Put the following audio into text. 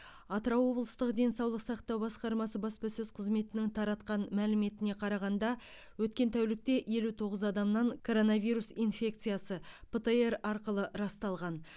атырау облыстық денсаулық сақтау басқармасы баспасөз қызметінің таратқан мәліметіне қарағанда өткен тәулікте елу тоғыз адамнан коронавирус инфекциясы птр арқылы расталған